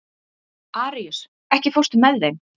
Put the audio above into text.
Aríus, ekki fórstu með þeim?